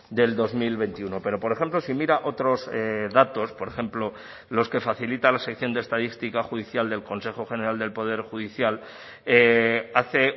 del dos mil veintiuno pero por ejemplo si mira otros datos por ejemplo los que facilita la sección de estadística judicial del consejo general del poder judicial hace